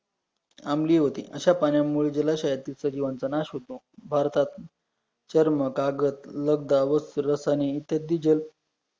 आमली होती, अशा पाण्यामुळेला जलाशयातील सजीवांचा नाश होतो, भारतात चर्म, कागद, लगदा व रस्त रसायने इत्यादी जल